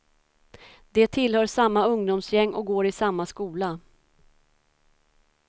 De tillhör samma ungdomsgäng och går i samma skola.